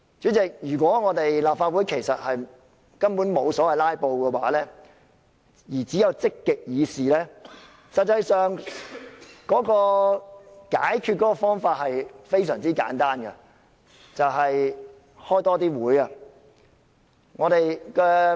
主席，如果立法會根本沒有所謂"拉布"而只有積極議事，解決方法其實非常簡單，便是召開更多會議。